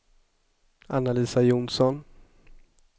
Anna-Lisa Johnsson